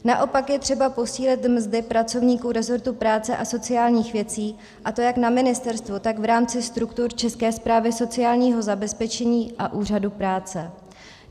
Naopak je třeba posílit mzdy pracovníků resortu práce a sociálních věcí, a to jak na ministerstvu, tak v rámci struktur České správy sociálního zabezpečení a Úřadu práce.